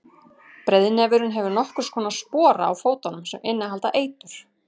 breiðnefurinn hefur nokkurs konar spora á fótunum sem innihalda eitur